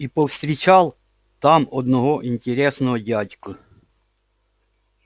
и повстречал там одного интересного дядьку